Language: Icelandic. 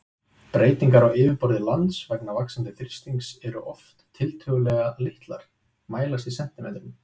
Breytingar á yfirborði lands vegna vaxandi þrýstings eru oftast tiltölulega litlar, mælast í sentimetrum.